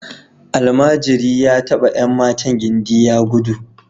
Almajiri ya taba ’yan matan gindi ya gudu